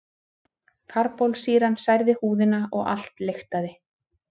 Karbólsýran særði húðina og allt lyktaði.